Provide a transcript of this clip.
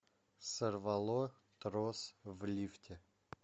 сорвало трос в лифте